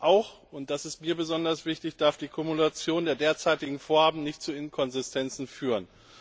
Auch und das ist mir besonders wichtig darf die Kumulation der derzeitigen Vorhaben nicht zu Inkonsistenzen führen.